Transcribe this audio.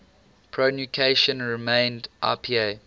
pronunciation remained ipa